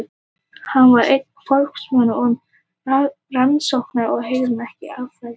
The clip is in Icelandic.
Hann var einn af forvígismönnum um rannsóknir á hegðun eða atferli dýra.